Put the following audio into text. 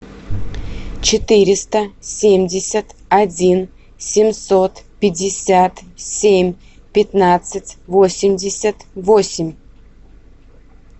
четыреста семьдесят один семьсот пятьдесят семь пятнадцать восемьдесят восемь